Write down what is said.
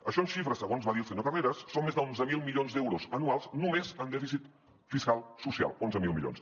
això en xifres segons va dir el senyor carreras són més d’onze mil milions d’euros anuals només en dèficit fiscal social onze mil milions